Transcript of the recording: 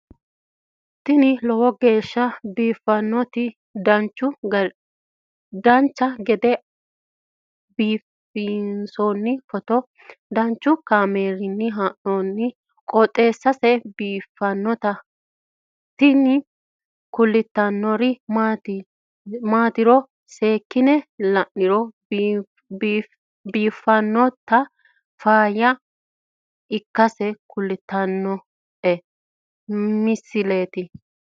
tini lowo geeshsha biiffannoti dancha gede biiffanno footo danchu kaameerinni haa'noonniti qooxeessa biiffannoti tini kultannori maatiro seekkine la'niro biiffannota faayya ikkase kultannoke misileeti yaate